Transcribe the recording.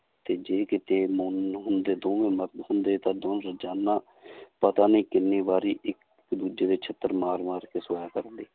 ਤੇ ਜੇ ਕਿਤੇ ਮਨ ਹੁੰਦੇ ਦੋਵੇਂ ਮਰਦ ਹੁੰਦੇ ਤਾਂ ਦੋਵੇਂ ਰੁਜ਼ਾਨਾ ਪਤਾ ਨੀ ਕਿੰਨੀ ਵਾਰੀ ਇੱਕ ਦੂਜੇ ਦੇ ਸਿੱਤਰ ਮਾਰ ਮਾਰ ਕੇ ਸੋਇਆ ਕਰਦੇ।